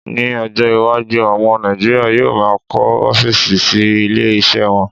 Ní ọjọ́ iwájú, àwọn Nàìjíríà yóò máà ń kọ́ ọ́físì sí ilé iṣẹ́ wọn